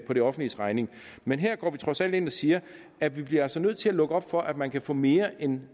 på det offentliges regning men her går vi trods alt ind og siger at vi altså bliver nødt til at lukke op for at man kan få mere end